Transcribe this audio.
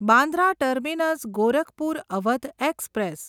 Bandra terminus Gorakhpur Awadh express